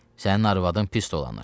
Sənin arvadın pis dolanır.